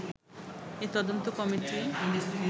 এই তদন্ত কমিটি